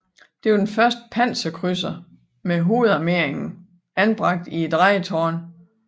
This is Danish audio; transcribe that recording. Det var den første panserkrydser med hovedarmeringen anbragt i drejetårne